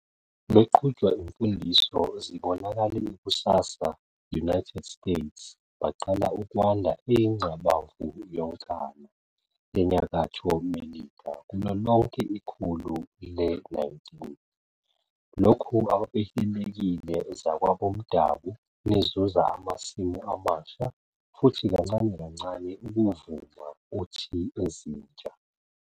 Beqhutshwa imfundiso zibonakale ikusasa, United States baqala ukwanda eyingqabavu yonkana Nyakatfo Melika kulo lonke ikhulu le-19. Lokhu ababehilelekile displacing zakwa bomdabu, nizuza amasimu amasha, futhi kancane kancane ukuvuma uthi ezintsha.